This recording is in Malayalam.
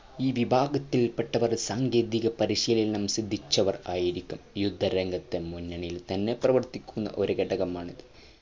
ഈ വിഭാഗത്തിൽ പെട്ടവർ സാങ്കേതിക പരിശീലനം സിദ്ധിച്ചവർ ആയിരിക്കും യുദ്ധരംഗത്തു മുന്നണിയിൽ തന്നെ പ്രവർത്തിക്കുന്ന ഒരു ഘടകമാണിത്